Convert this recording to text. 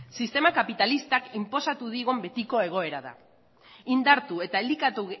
sistema kapitalistak inposatu digun betiko egoera da indartu eta elikatu